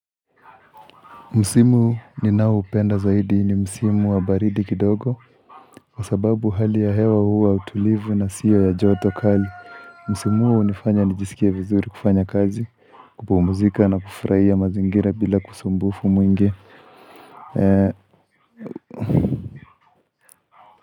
Msimu ninao upenda zaidi ni Msimu wa baridi kidogo Kwa sababu hali ya hewa huwa utulivu na siyo ya joto kali Msimu huu unifanya nijisikia vizuri kufanya kazi kupumuzika na kufuraia mazingira bila usumbufu mwingi.